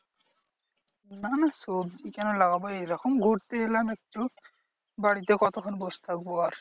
না না সবজি কেন লাগাবো? এইরকম ঘুরতে এলাম একটু বাড়িতে কতক্ষন বস থাকবো আর?